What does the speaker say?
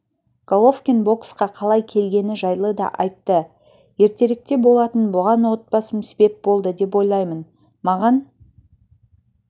головкин боксқа қалай келгені жайлы да айтты ертеректе болатын бұған отбасым себеп болды деп ойлаймын маған